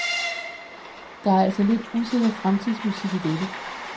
Der er altså lidt usikker fremtidsmusik i dette.